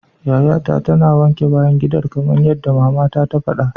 Yayata tana wanke bayan gidan kamar yadda mama ta fada.